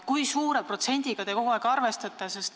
Kui suure protsendiga te kogu aeg arvestate?